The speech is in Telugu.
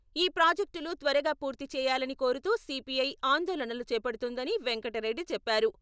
ఈ ప్రాజెక్టులు త్వరగా పూర్తిచేయాలని కోరుతూ సీపీఐ ఆందోళన లు చేపడుతుందని వెంకటరెడ్డి చెప్పారు.